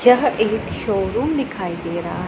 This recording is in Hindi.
यह एक शोरूम दिखाई दे रहा--